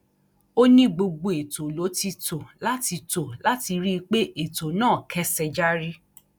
ó ní gbogbo ètò ló ti tó láti tó láti rí i pé ètò náà kẹsẹ járí